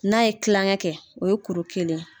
N'a ye kilankɛ kɛ, o ye kuru kelen ye.